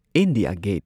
India get